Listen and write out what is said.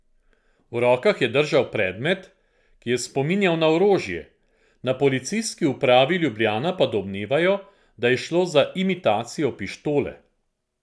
V rokah je držal predmet, ki je spominjal na orožje, na Policijski upravi Ljubljana pa domnevajo, da je šlo za imitacijo pištole.